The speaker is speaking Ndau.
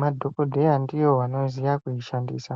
madhokodheya ndiwo anoziya kuishandisa.